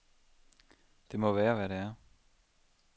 Det må være hvad det er.